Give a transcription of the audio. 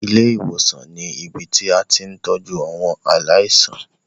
Ilé ìwòsàn ni ibi tí a ti ń tọ́jú àwọn aláìsàn.